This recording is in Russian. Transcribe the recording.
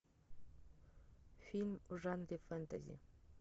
фильм в жанре фэнтези